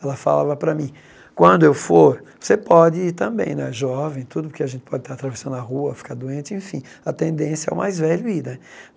Ela falava para mim, quando eu for, você pode também, né, jovem, tudo, porque a gente pode estar atravessando a rua, ficar doente, enfim, a tendência é o mais velho ir, né?